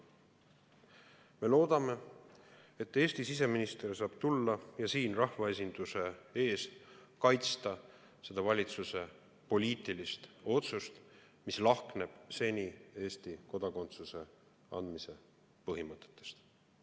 Me loodame, et Eesti siseminister saab tulla ja siin rahvaesinduse ees kaitsta seda valitsuse poliitilist otsust, mis lahkneb senistest Eesti kodakondsuse andmise põhimõtetest.